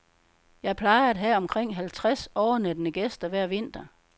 Jeg plejer at have omkring halvtreds overnattende gæster hver vinter.